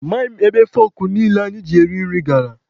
Amaghị m ebe fọkụ niile anyị ji eri nri gara.